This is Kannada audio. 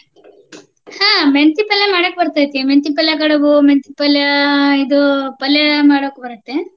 ಹ್ಮ ಮೆಂತಿ ಪಲ್ಲೆ ಮಾಡಾಕ ಬರ್ತೆತಿ. ಮೆಂತಿ ಪಲ್ಯಾ ಕಡುಬು, ಮೆಂತಿ ಪಲ್ಯಾ ಇದು ಪಲ್ಲೆ ಮಾಡಾಕ ಬರುತ್ತೆ.